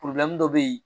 dɔ bɛ yen